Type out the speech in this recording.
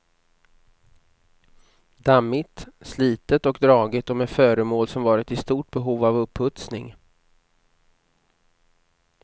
Dammigt, slitet och dragigt och med föremål som varit i stort behov av uppustning.